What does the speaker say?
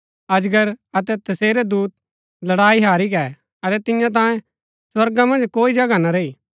अजगर अतै तसेरै दूत लडाई हारी गै अतै तिन्या तांये स्वर्गा मन्ज कोई जगह ना रैई